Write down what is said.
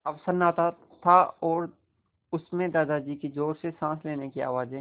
अब सन्नाटा था और उस में दादाजी की ज़ोर से साँस लेने की आवाज़ें